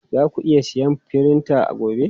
Zaku iya siyan firinta gobe?